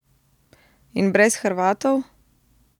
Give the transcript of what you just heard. In brez Hrvatov?